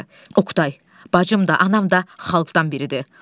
Oqtay, bacım da anam da xalqdan biridir.